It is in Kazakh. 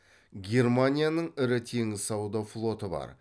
германияның ірі теңіз сауда флоты бар